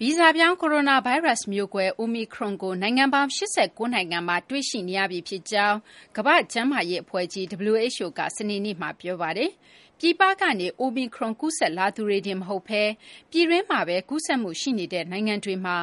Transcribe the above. ဗီဇပြောင်း ကိုရိုနာဗိုင်းရပ်စ် မျိုးကွဲ အိုမီခရွန်ကို နိုင်ငံပေါင်း ၈၉ နိုင်ငံမှာ တွေ့ရှိနေရပြီ ဖြစ်ကြောင်း ကမ္ဘာ့ကျန်းမာရေးအဖွဲ့ကြီး (WHO) က စနေနေ့မှာ ပြောပါတယ်။ ပြည်ပကနေ အိုမီခရွန် ကူးစက်လာသူတွေတင် မဟုတ်ဘဲ ပြည်တွင်းမှာပဲ ကူးစက်မှုရှိနေတဲ့ နိုင်ငံတွေမှာ